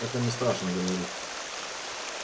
это не страшно говорит